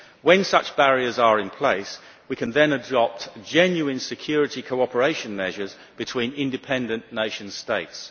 When such barriers are in place, we can then adopt genuine security cooperation measures between independent nation states.